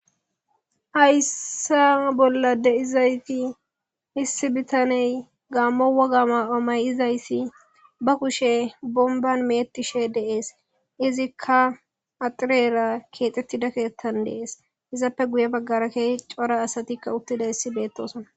Hayssa bolla issi biittaney gaammo wogga mayo mayidayssi ba kuushshe bonban meecetishe de'es izikka axirwra keexxetida keethtthan de'es izappe guuye baggara keehi cora asatikka uuttidayssi bettossonna.